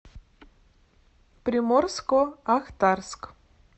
приморско ахтарск